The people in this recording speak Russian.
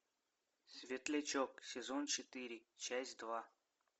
светлячок сезон четыре часть два